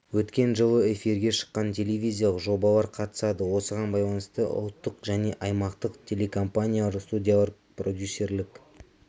өткен жылы эфирге шыққан телевизиялық жобалар қатысады осыған байланысты ұлттық және аймақтық телекомпаниялар студиялар продюсерлік